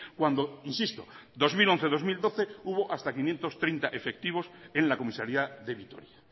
cuando insisto dos mil once dos mil doce hubo hasta quinientos treinta efectivos en la comisaría de vitoria